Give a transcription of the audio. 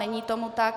Není tomu tak.